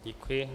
Děkuji.